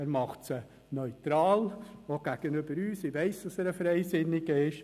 Er macht sie neutral, auch gegenüber uns, denn ich weiss, dass er ein Freisinniger ist.